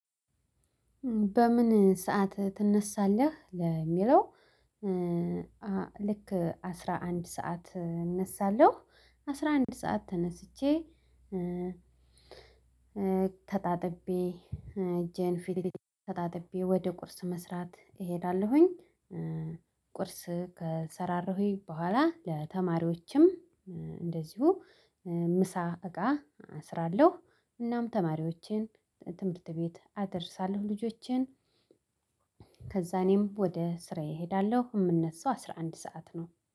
በምን ሰዓት ትነሳለህ? ለሚለው ኧ ልክ አስራ አንድ ሰዓት እነሳለሁ። አስራ አንድ ሰዓት ተነስቼ ኧ ተጣጥቤ ኧ እጄን ፊቴአአ ተጣጥቤ ወደ ቁርስ መስራት እሄዳለሁኝ። ኧ ቁርስ ከሰራራሁይ በኋላ ለተማሪዎችም ኧ እንደዚሁ ምሳ እቃ አስራለሁ እናም ተማሪችን ትምህርት ቤት አደርሳለሁ። ልጆቼን ከዛ እኔም ወደ ስራዬ እሄዳለሁ እምነሳው አስራ አንድ ሰዓት ነው።